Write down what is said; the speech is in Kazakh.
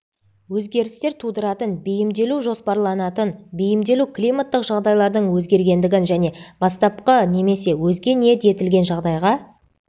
өзгерістер тудыратын бейімделу жоспарланатын бейімделу климаттық жағдайлардың өзгергендігін және бастапқы немесе өзге ниет етілген жағдайға